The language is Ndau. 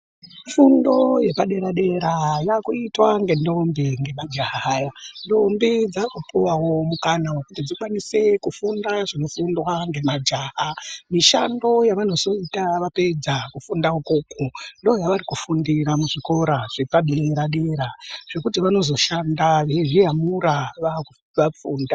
Fundo yepadera dera yaakuitwa nendombi nemajaha ndombi dzaakupuwawo mukana kuti dzikwanise kufunda zvinofundwao nemajaha mishando yavanozoita vapedza kufunda ikoko ndoyavari kufundira muzvikora zvepadera dera zvekuti vanozoshanda veizviyamura vapedza kufunda.